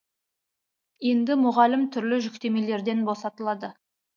енді мұғалім түрлі жүктемелерден босатылады